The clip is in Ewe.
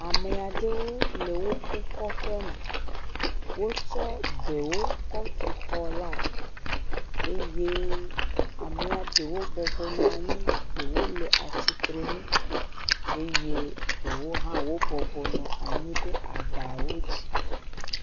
Ame aɖewo le woƒe kɔƒeme. Wotsɔ bɛwo kɔtu xɔlae. Eye amea ɖewo bɔbɔ nɔ anyi, ɖewo le atsitrenu eye ɖewo hã wobɔbɔ nɔ anyi ɖe abawo dzi.